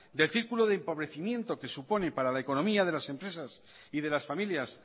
del circulo de empobrecimiento que supone para la economía de las empresas y de las familias